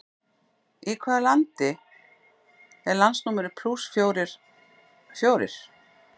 Í hvaða landi er landsnúmerið plús fjórir fjórir?